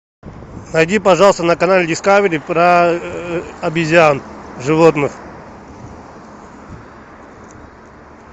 найди пожалуйста на канале дискавери про обезьян животных